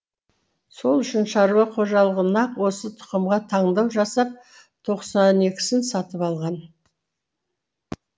сол үшін шаруа қожалығы нақ осы тұқымға таңдау жасап тоқсан екісін сатып алған